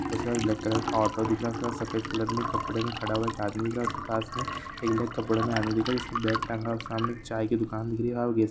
उसके बाद black colour का ऑटो दिख रहा है सफेद कलर में कपड़े में खड़ा हुआ आदमी था उसके पास में कपडे में आदमी बैग टाँगा हुआ है सामने चाय की दुकान दिख रही है।